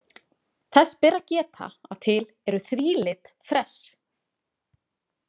Þess ber að geta að til eru þrílit fress.